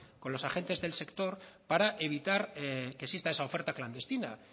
con los agentes del sector para evitar que exista esa oferta clandestina